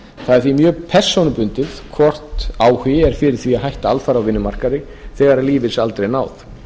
það er því mjög persónubundið hvort áhugi er fyrir því að hætta alfarið á vinnumarkaði þegar lífeyrisaldri er náð